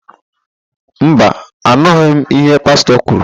Mba, anụghị m íhé Pastọ kwuru.